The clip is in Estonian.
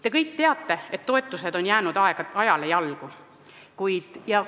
Te kõik teate, et toetused on jäänud ajale jalgu.